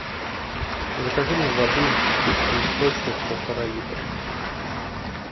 закажи мне воды чистый источник полтора литра